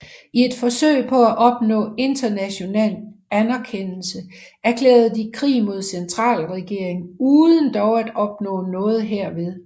I et forsøg på at opnå international anerkendelse erklærede de krig mod centralregeringen uden dog at opnå noget herved